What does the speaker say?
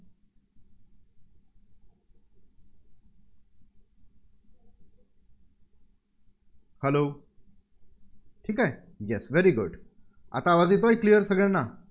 Hello ठीक आहे? Yes Very Good आता आवाज येतोय Clear सगळ्यांना?